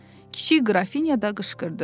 Kiçik Qrafinya da qışqırdı.